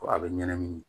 Ko a bɛ ɲɛnamini